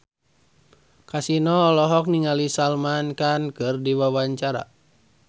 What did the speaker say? Kasino olohok ningali Salman Khan keur diwawancara